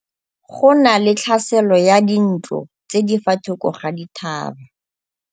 Go na le tlhasêlô ya dintlo tse di fa thoko ga dithaba.